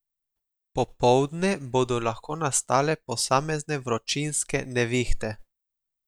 Popoldne bodo lahko nastale posamezne vročinske nevihte.